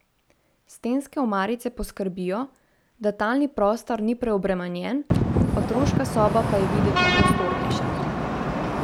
Stenske omarice poskrbijo, da talni prostor ni preobremenjen, otroška soba pa je videti prostornejša.